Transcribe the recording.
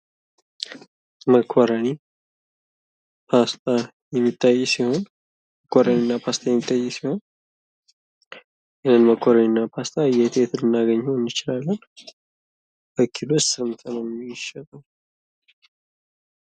መኮረኒ ፖስታ የሚታይ ሲሆን መኮረኒ እና ፓስታ የሚታይ ሲሆን ይህ መኮረኒ እና ፓስታ የት የት ልናገኘው እንችላለን? በኪሎስ ስንት ነው የሚሸጠው?